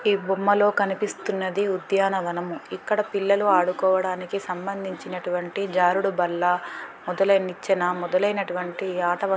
ఈ బొమ్మలో కనిపిస్తున్నది ఉద్యానవనము ఇక్కడ పిల్లలు ఆడుకోవడానికి సంబంధించినటువంటి జారుడుబల్ల వదిలే నిచ్చన మొదలైనటువంటి ఆట వ --